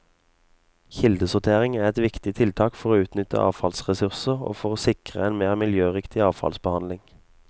Kildesortering er et viktig tiltak for å utnytte avfallsressurser og for å sikre en mer miljøriktig avfallsbehandling.